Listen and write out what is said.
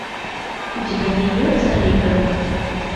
у тебя найдется рейган